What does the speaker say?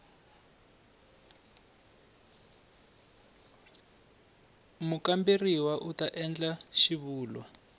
mukamberiwa u ta endla xivulwa